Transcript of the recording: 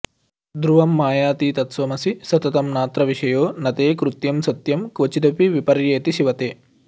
ध्रुवं मायातीतस्त्वमसि सततं नात्र विषयो न ते कृत्यं सत्यं क्वचिदपि विपर्येति शिव ते